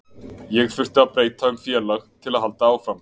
Ég þurfti að breyta um félag til að halda áfram.